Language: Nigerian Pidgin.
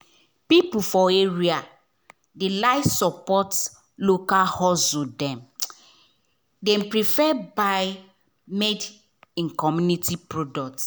people for area dey like support local hustle — dem prefer buy made-in-community products.